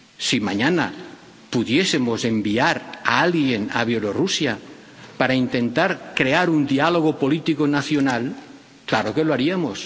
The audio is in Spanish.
Si mañana pudiésemos enviar a alguien a Bielorrusia para intentar crear un diálogo político nacional, claro que lo haríamos